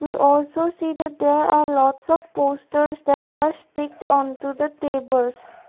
we also see that there are lots of posters that are strict on to the tables.